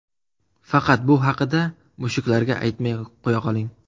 Faqat bu haqida mushuklarga aytmay qo‘yaqoling!